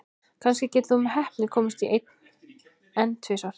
Kannski getur þú með heppni komist í einn, en tvisvar?